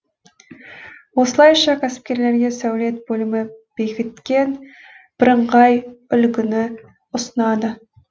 осылайша кәсіпкерлерге сәулет бөлімі бекіткен бірыңғай үлгіні ұсынады